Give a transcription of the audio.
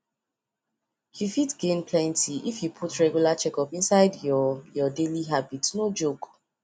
you fit gain plenty if you put regular checkup inside your your daily habit no joke